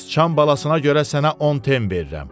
Sıçan balasına görə sənə 10 ten verirəm.